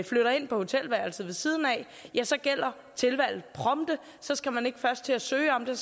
flytter ind på hotelværelset ved siden af så gælder tilholdet prompte så skal man ikke først til at søge om det